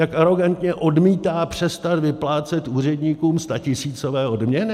Jak arogantně odmítá přestat vyplácet úředníkům statisícové odměny?